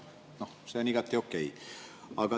See on igati okei.